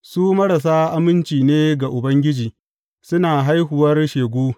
Su marasa aminci ne ga Ubangiji; suna haihuwar shegu.